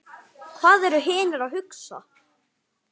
Hvað eru hinir að hugsa?